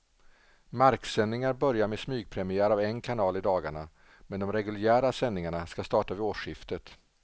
Marksändningar börjar med smygpremiär av en kanal i dagarna, men de reguljära sändningarna ska starta vid årsskiftet.